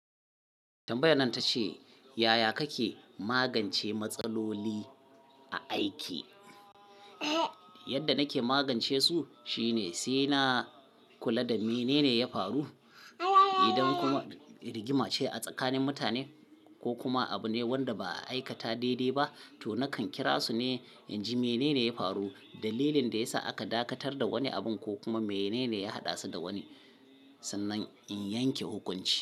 Tambayan nan ta ce, yaya kake magance matsaloli a aiki? Yadda nake magance su shine, sai na kula da mene ne ya faru. Idan kuma rigima ce a tsakanin mutane ko kuma abu ne wanda ba a aikata daidai ba, to nakan kira su ne, in ji mene ne ya faru, dalilin da ya sa aka dakatar da wani abin ko kuma mene ne ya haɗa su da wani, sannan in yanke hukunci.